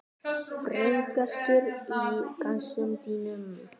Frægastur í gemsanum þínum?